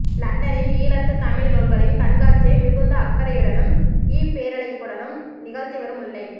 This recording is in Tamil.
லண்டனில் ஈழத்துத் தமிழ் நூல்களின் கண்காட்சியை மிகுந்த அக்கறையுடனும்இ பேருழைப்புடனும் நிகழ்த்திவரும் முல்லை